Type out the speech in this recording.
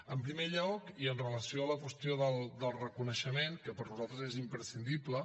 en primer lloc i amb relació a la qüestió del reconeixement que per nosaltres és imprescindible